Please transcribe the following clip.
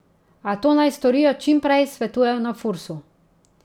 A to naj storijo čim prej, svetujejo na Fursu.